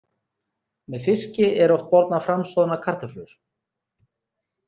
Með fiski eru oft bornar fram soðnar kartöflur.